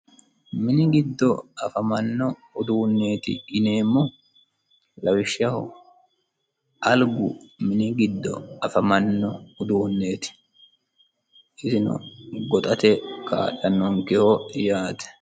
Minni giddo afamano udduneti yinnemohu lawishshaho aliggu mini giddo afamano udduneti isino goxxate kaalanokeho